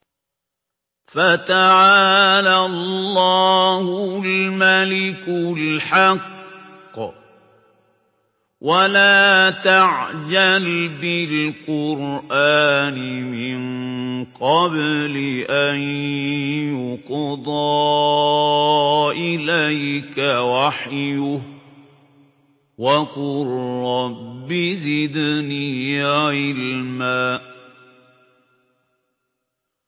فَتَعَالَى اللَّهُ الْمَلِكُ الْحَقُّ ۗ وَلَا تَعْجَلْ بِالْقُرْآنِ مِن قَبْلِ أَن يُقْضَىٰ إِلَيْكَ وَحْيُهُ ۖ وَقُل رَّبِّ زِدْنِي عِلْمًا